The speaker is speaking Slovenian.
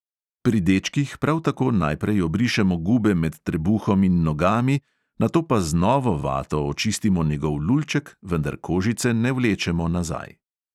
Pri dečkih prav tako najprej obrišemo gube med trebuhom in nogami, nato pa z novo vato očistimo njegov lulček, vendar kožice ne vlečemo nazaj.